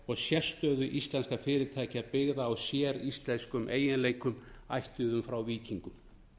og sérstöðu íslenskra fyrirtækja byggða á séríslenskum eiginleikum ættuðum frá víkingum